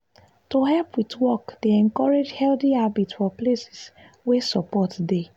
to help with work dey encourage healthy habits for places wey support dey.